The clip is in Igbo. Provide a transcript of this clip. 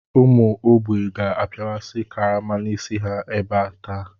Ụmụ ógbè ga-apịawasị karama n'isi ha ebe taa.